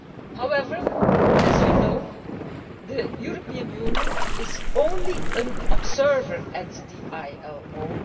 However, as you know, the European Union is only an observer at the ILO.